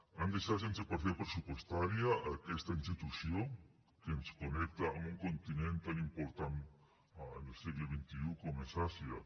han deixat sense partida pressupostària aquesta institució que ens connecta amb un continent tan important al segle xxi com és àsia